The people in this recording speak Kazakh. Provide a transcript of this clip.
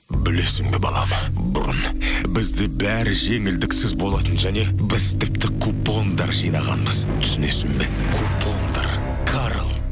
білесің бе балам бұрын бізде бәрі жеңілдіксіз болатын және біз тіпті купондар жинағанбыз түсінесің бе купондар карл